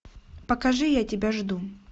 покажи я тебя жду